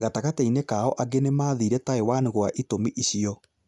gatagatĩinĩ kao angĩ nĩ mathire Taiwan gwa itũmi icio.